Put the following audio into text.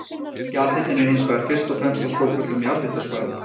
Jarðhitinn er hins vegar fyrst og fremst á svokölluðum jarðhitasvæðum.